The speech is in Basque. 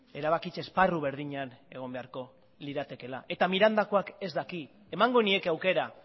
erabakitze esparru berdinean egon beharko liratekeela eta mirandakoak ez daki emango nieke aukera